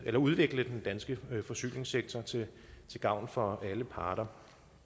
at udvikle den danske forsyningssektor til gavn for alle parter